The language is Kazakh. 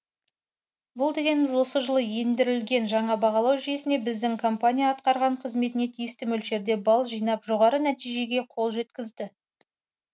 бұл дегеніміз осы жылы ендірілген жаңа бағалау жүйесіне біздің компания атқарған қызметіне тиісті мөлшерде бал жинап жоғары нәтижеге қол жеткізді